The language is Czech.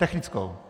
Technickou.